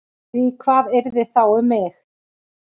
Því hvað yrði þá um mig?